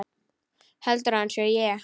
Heldur hann að ég sé.